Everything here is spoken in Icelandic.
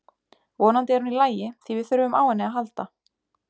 Vonandi er hún í lagi því við þurfum á henni að halda.